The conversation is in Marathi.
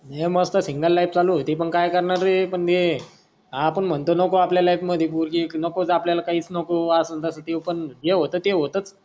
मी मस्त सिंगल लाईफ चालू होती पण काय करणार आहे पण म्ये हा आपण मनतो न आपल्या मध्ये लाईफ पोरगी एक नको बा आपल्याला काहीच नको असच त्यो पण जे होत ते होतच.